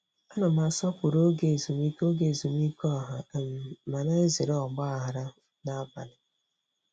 Ana m asọpụrụ oge ezumike oge ezumike ọha um ma na-ezere ọgba aghara abalị.